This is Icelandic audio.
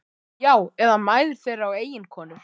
Já, eða mæður þeirra og eiginkonur.